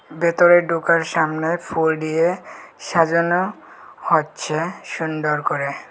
ভেতরে ডোকার সামনে ফুল ডিয়ে সাজানো হচ্ছে সুন্ডর করে।